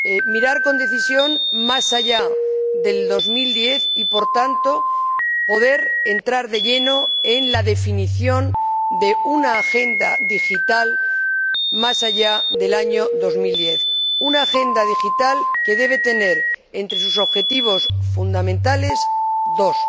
Mirar con decisión más allá de 2010 y, por tanto, poder entrar de lleno en la definición de una agenda digital más allá del año 2010, una agenda digital que debe tener, entre sus objetivos fundamentales, dos objetivos